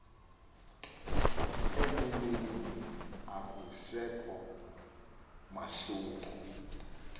eneneni akusekho mahluko